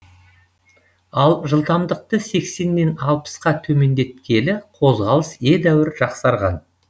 ал жылдамдықты сексеннен алпысқа төмендеткелі қозғалыс едәуір жақсарған